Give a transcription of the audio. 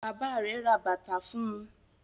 Bàbá rẹ̀ ra bàtà fún un.